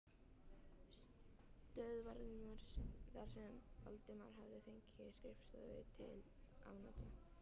stöðvarinnar þar sem Valdimar hafði fengið skrifstofu til afnota.